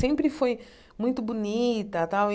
Sempre foi muito bonita tal e.